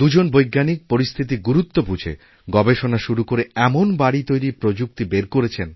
দুজন বৈজ্ঞানিক পরিস্থিতির গুরুত্ব বুঝে গবেষণা শুরুকরে এমন বাড়ি তৈরির প্রযুক্তি বের করেছেন